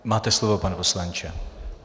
Máte slovo, pane poslanče.